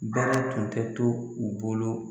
Baara tun tɛ to u bolo